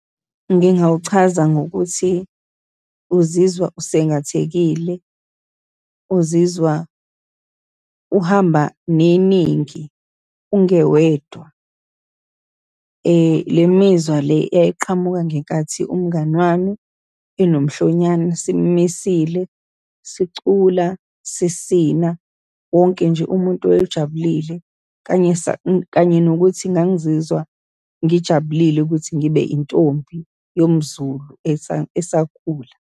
Ngingawuchaza ngokuthi, uzizwa usengathekile, uzizwa uhamba neningi, ungewedwa. Le mizwa le yayiqhamuka ngenkathi umngani wami enomhlonyane, simisile, sicula, sisina. Wonke nje umuntu ejabulile kanye kanye nokuthi ngangizizwa ngijabulile ukuthi ngibe intombi yomZulu esakhula.